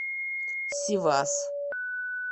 сивас